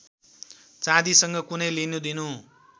चाँदीसँग कुनै लिनुदिनु